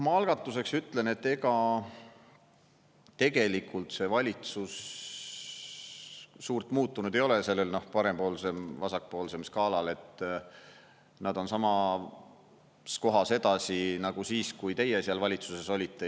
Ma algatuseks ütlen, et ega tegelikult see valitsus suurt muutunud ei ole sellel parempoolsem-vasakpoolsem skaalal, nad on samas kohas edasi nagu siis, kui teie valitsuses olite.